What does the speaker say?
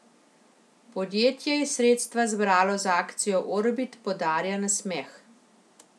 Podjetje je sredstva zbralo z akcijo Orbit podarja nasmeh.